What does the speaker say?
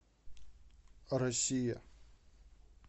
россия